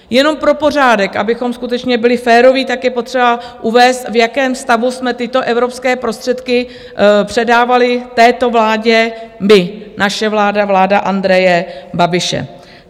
Jenom pro pořádek, abychom skutečně byli féroví, tak je potřeba uvést, v jakém stavu jsme tyto evropské prostředky předávali této vládě my, naše vláda, vláda Andreje Babiše.